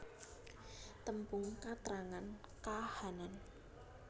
Tembung katrangan kahanan